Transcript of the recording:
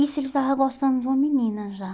Isso ele estava gostando de uma menina já?